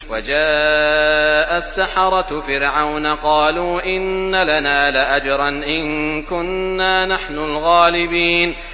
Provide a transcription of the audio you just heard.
وَجَاءَ السَّحَرَةُ فِرْعَوْنَ قَالُوا إِنَّ لَنَا لَأَجْرًا إِن كُنَّا نَحْنُ الْغَالِبِينَ